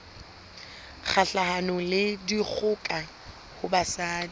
kgahlanong le dikgoka ho basadi